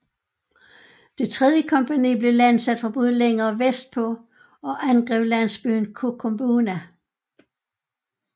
Det tredje kompagni blev landsat fra både længere vestpå og angreb landsbyen Kokumbuna